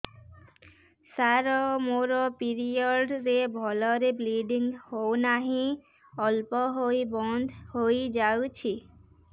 ସାର ମୋର ପିରିଅଡ଼ ରେ ଭଲରେ ବ୍ଲିଡ଼ିଙ୍ଗ ହଉନାହିଁ ଅଳ୍ପ ହୋଇ ବନ୍ଦ ହୋଇଯାଉଛି